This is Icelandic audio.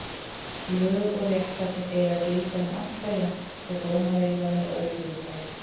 Lög og réttlæti eiga að gilda um alla jafnt og dómar eiga að vera óhlutdrægir.